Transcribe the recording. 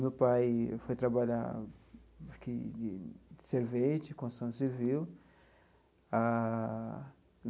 Meu pai foi trabalhar aqui de servente, construção civil ah.